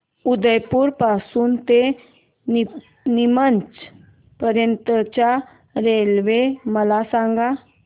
उदयपुर पासून ते नीमच पर्यंत च्या रेल्वे मला सांगा